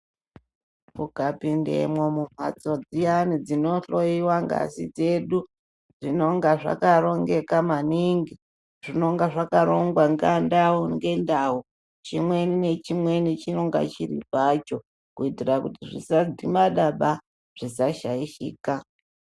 Ukapindemwo mumhatso dziyani dzinohloiwa ngazi dzedu zvinonga zvakarongeka maningi zvinonga zvakarongwa nga ndau ngendau chimwe ngachimwe chinenge chiri pacho kuitire kuti zvisadhimadaba zvisashaishika.